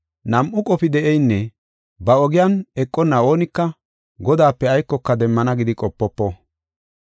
Nam7u qofi de7eynne ba ogiyan eqonna oonika Godaape aykoka demmana gidi qopofo.